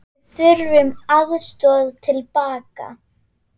Við þurftum aðstoð til baka.